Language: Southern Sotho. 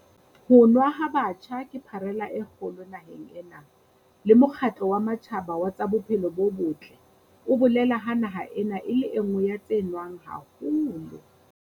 Ho nwa ha batjha ke pharela e kgolo naheng ena, le Mokgatlo wa Matjhaba wa tsa Bophelo bo Botle o bolela ha naha ena e le e nngwe ya tse nwang haholo.